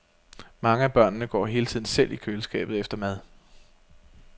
Mange af børnene går hele tiden selv i køleskabet efter mad.